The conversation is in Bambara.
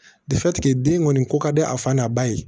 den kɔni ko ka di a fa n'a ba ye